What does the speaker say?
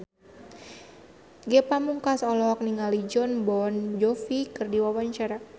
Ge Pamungkas olohok ningali Jon Bon Jovi keur diwawancara